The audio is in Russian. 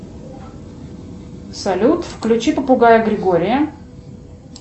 салют включи попугая григория